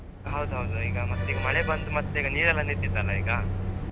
ಹೌದೌದು ಈಗ ಮತ್ತೀಗ ಮಳೆ ಬಂದ್ ಮತ್ತೀಗ ನೀರೆಲ್ಲ ನಿಂತಿತ್ತಲ್ಲ ಈಗ.